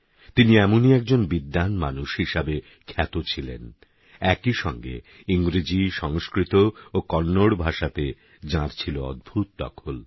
তিনি এমনই একজন বিদ্বান মানুষ হিসেবে খ্যাত ছিলেন একই সঙ্গে ইংরেজি সংস্কৃত ও কন্নড় ভাষাতে যাঁর ছিল অদ্ভুত দখল